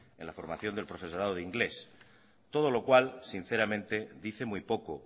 en la formación del profesorado de inglés todo lo cual sinceramente dice muy poco